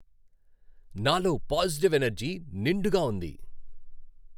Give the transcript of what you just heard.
నాలో positive energy నిండుగా ఉంది.